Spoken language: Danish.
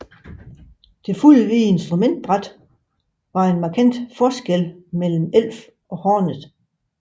Det fuldvidde instrumentbræt var en markant forskel mellem Elf og Hornet